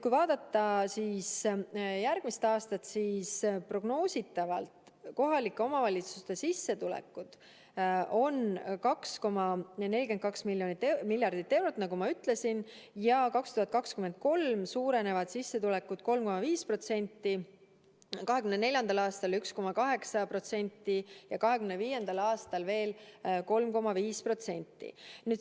Kui vaadata järgmist aastat, siis prognoositavalt on kohalike omavalitsuste sissetulekud 2,42 miljardit eurot, nagu ma ütlesin, ja 2023. aastal suurenevad sissetulekud 3,5%, 2024. aastal 1,8% ja 2025. aastal veel 3,5%.